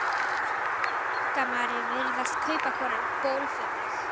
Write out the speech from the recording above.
Annars mundi Ingimari virðast kaupakonan bólfimleg.